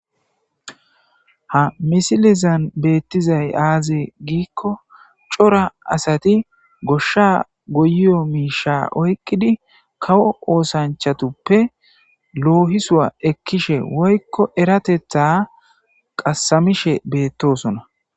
ha misilizan beettizay aaze giikko cora asati goshsha goyyo miisha oykkidi kawo oosanchatuppe loohisua ekkishe woykko eratetha qassamishe beettosona